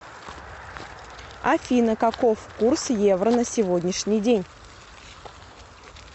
афина каков курс евро на сегодняшний день